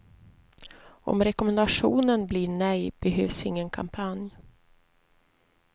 Om rekommendationen blir nej, behövs ingen kampanj.